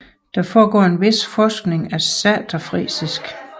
Der foregår en vis forskning af saterfrisisk